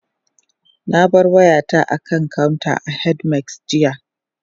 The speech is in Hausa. Na bar wayata a kan counter a H-medics, jiya